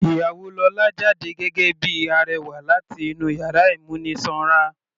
Ìyàwó lọ́la jáde gẹ́gẹ́ bíi arẹwà láti inú yàrá ìmúnisanra.